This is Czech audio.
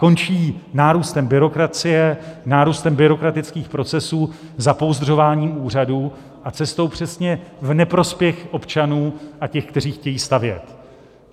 Končí nárůstem byrokracie, nárůstem byrokratických procesů, zapouzdřováním úřadů a cestou přesně v neprospěch občanů a těch, kteří chtějí stavět.